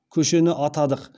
көшені атадық